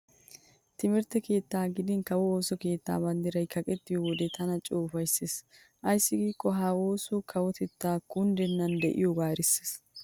Timirtte keettan gidin kawo ooso keettan banddirayi kaqettiyoo wode tan coo ufayisses. Ayissi giikoo ha oosoyi kawotettayi kunddennan diyoogaa erisses.